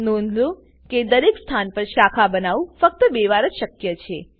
નોંધ લોકો કે દરેક સ્થાન પર શાખા બનાવું ફક્ત બે વાર જ શક્ય છે